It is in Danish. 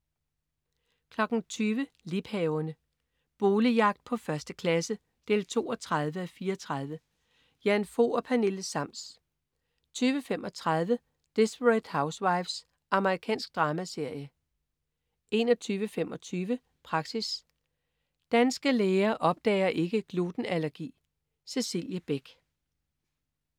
20.00 Liebhaverne. Boligjagt på 1. klasse 32:34. Jan Fog og Pernille Sams 20.35 Desperate Housewives. Amerikansk dramaserie 21.25 Praxis. Danske læger opdager ikke glutenallergi. Cecilie Beck